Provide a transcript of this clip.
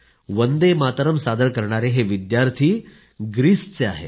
वन्दे मातरम् सादर करणारे हे विद्यार्थी ग्रीसचे आहेत